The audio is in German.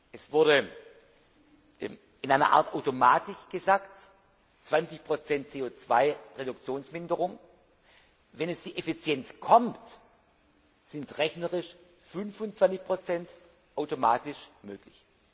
Es wurde in einer Art Automatik gesagt, 20 CO 2 Reduktionsminderung, wenn jetzt die Effizienz kommt, sind rechnerisch 25 automatisch möglich.